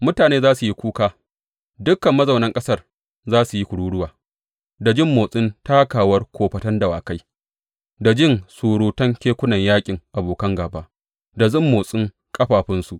Mutane za su yi kuka; dukan mazaunan ƙasar za su yi kururuwa da jin motsin takawar kofatan dawakai, da jin surutun kekunan yaƙin abokin gāba da motsin ƙafafunsu.